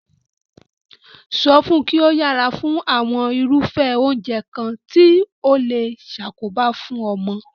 So fun ki o yera fún àwon irúfé oúnje kan ti o le sakoba fun omo